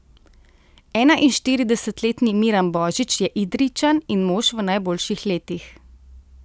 Enainštiridesetletni Miran Božič je Idrijčan in mož v najboljših letih.